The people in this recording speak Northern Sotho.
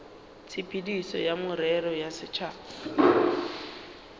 tshepedišo ya merero ya setšhaba